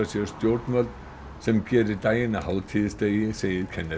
sér stjórnvöld sem gerir daginn að hátíðisdegi segir Kenneth